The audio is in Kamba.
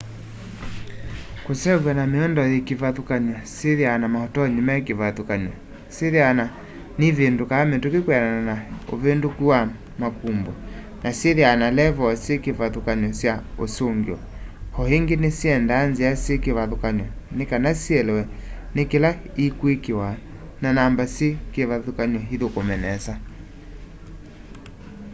kuseuvw'a na miundo yi kivathukanio syithiawa na mautonyi me kivathukany'o syithiawa na nivindukaa mituki kwianana na uvinduku wa makumbo na syithiawa na levoo syi kivathukany'o sya usungio o ingi nisyendaa nzia syi kivathukany'o ni kana sielewe ni kila i kwikiwa na namba syi kivathukany'o ithukume nesa